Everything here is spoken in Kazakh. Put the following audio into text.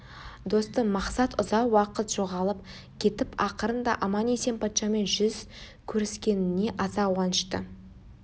достым мақсат ұзақ уақыт жоғалып кетіп ақырында аман-есен патшамен жүз көріскеніне аса қуанышты